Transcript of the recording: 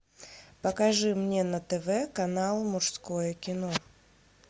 покажи мне на тв канал мужское кино